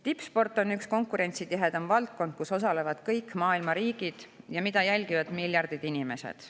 Tippsport on üks konkurentsitihedamaid valdkondi, kus osalevad kõik maailma riigid ja mida jälgivad miljardid inimesed.